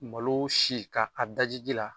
Malo si ka a daji ji la